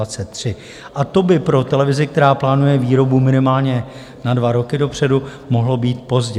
A to by pro televizi, která plánuje výrobu minimálně na dva roky dopředu, mohlo být pozdě.